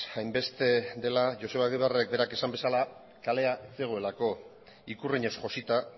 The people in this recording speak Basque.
hainbeste dela joseba egibarrek berak esan bezala kalea ez zegoelako ikurriñez josita